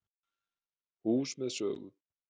Hús með sögu